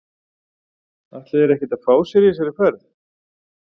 Ætla þeir ekkert að fá sér í þessari ferð??